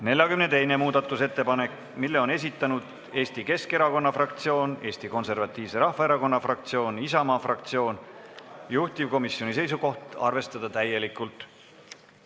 42. muudatusettepaneku on esitanud Eesti Keskerakonna fraktsioon, Eesti Konservatiivse Rahvaerakonna fraktsioon ja Isamaa fraktsioon, juhtivkomisjoni seisukoht: arvestada seda täielikult.